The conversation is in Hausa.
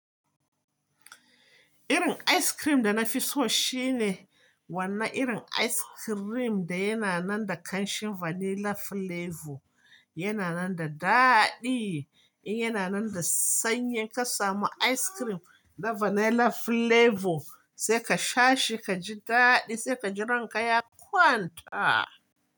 Irin ice cream da na fi so shine wannan irin ice cream da yana nan da ƙanshin vanilla flavor. Yana nan da daɗi. In yana nan da sanyi ka samu ice cream da vanilla flavor sai ka sha shi, ka ji daɗi, sai ka ji ranka ya kwanta.